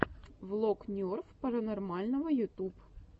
влог нерв паранормального ютуб